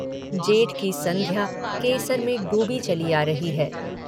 जेठ की सन्ध्या केसर में डूबी चली आ रही है।